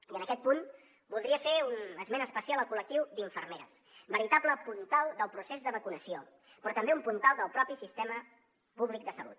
i en aquest punt voldria fer un esment especial al col·lectiu d’infermeres veritable puntal del procés de vacunació però també un puntal del propi sistema públic de salut